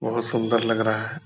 बहुत सुंदर लग रहा है।